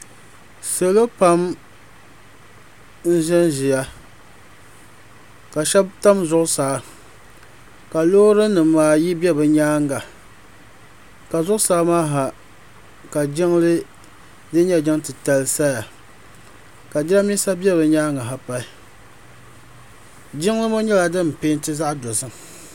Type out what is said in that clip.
Salo pam n zi n ziya ka shɛba tam zuɣusaa ka loori nima ayi bɛ bi yɛanga ka zuɣu saa maa ha ka jiŋli dini nyɛ jiŋ titali zaya ka jiranbisa bɛ bi yɛanga ha pahi jiŋli ŋɔ nyɛla dini pɛnti zaɣi dozim.